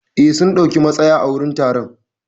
Eh, sun dauki matsaya a gurin taron.